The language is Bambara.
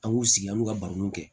An b'u sigi an b'u ka barow kɛ